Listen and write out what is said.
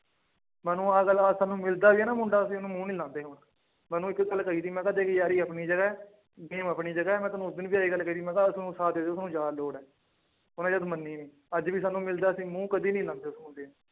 ਮੈਂ ਉਹਨੂੰ ਆਹ ਗੱਲ ਅੱਜ ਸਾਨੂੰ ਮਿਲਦਾ ਵੀ ਹੈ ਨਾ ਮੁੰਡਾ ਅਸੀਂ ਉਹਨੂੰ ਮੂੰਹ ਨੀ ਲਾਉਂਦੇ ਹੁਣ, ਮੈਂ ਉਹਨੂੰ ਇੱਕ ਗੱਲ ਕਹੀ ਸੀ ਮੈਂ ਕਿਹਾ ਦੇਖ ਯਾਰੀ ਆਪਣੀ ਜਗ੍ਹਾ ਹੈ game ਆਪਣੀ ਜਗ੍ਹਾ ਹੈ ਮੈਂ ਤੈਨੂੰ ਉਦਣ ਵੀ ਇਹੀ ਗੱਲ ਕਹੀ ਸੀ ਮੈਂ ਕਿਹਾ ਜ਼ਿਆਦਾ ਲੋੜ ਹੈ ਉਹਨੇ ਜਦ ਮੰਨੀ ਨੀ ਅੱਜ ਵੀ ਸਾਨੂੰ ਮਿਲਦਾ ਅਸੀਂ ਮੂੰਹ ਕਦੇ ਨੀ ਲਾਉਂਦੇ ਉਸ ਮੁੰਡੇ ਨੂੰ